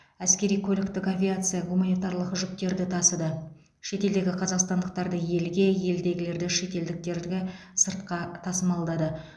әскери көліктік авиация гуманитарлық жүктерді тасыды шетелдегі қазақстандықтарды елге елдегілерді шетелдіктерді сыртқа тасымалдады